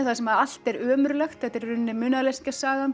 þar sem allt er ömurlegt þetta er í raun munaðarleysingjasagan